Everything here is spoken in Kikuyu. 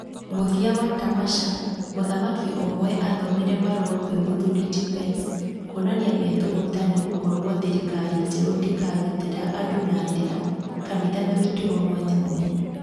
Mũthia wa Tamasha, mũthaki ũmwe athomire marũa kwĩ mũthuri ti Pence, kuonania methũgũta nĩgũkorwo thirikari njerũ ndĩkagitĩra andũ na ndĩra, kanitha na mĩtugo mwanya mwanya